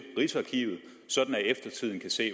rigsarkivet sådan at eftertiden kan se